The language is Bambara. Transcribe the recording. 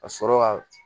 Ka sɔrɔ ka